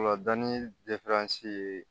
Ola dɔni ye